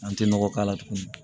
An tɛ nɔgɔ k'a la tuguni